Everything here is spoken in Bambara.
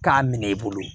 K'a minɛ i bolo